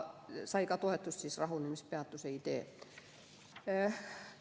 Aga rahunemispeatuse idee sai toetust.